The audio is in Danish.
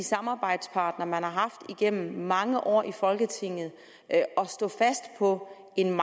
samarbejdspartnere den har haft igennem mange år i folketinget og står fast på en